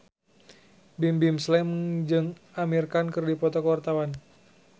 Bimbim Slank jeung Amir Khan keur dipoto ku wartawan